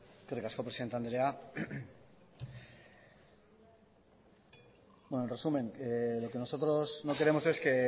eskerrik asko presidente andrea en resumen lo que nosotros no queremos es que